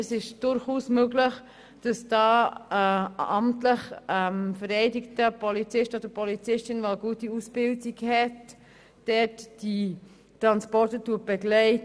Es ist durchaus möglich, dass da ein amtlich vereidigter Polizist oder eine amtlich vereidigte Polizistin mit einer guten Ausbildung die Transporte begleitet.